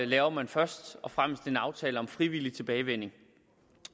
laver man først og fremmest en aftale om frivillig tilbagevending